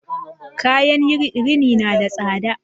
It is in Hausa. Kayan rini na da tsada